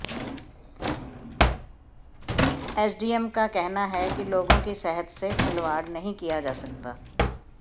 SDM का कहना है कि लोगों की सेहत से खिलवाड़ नहीं किया जा सकता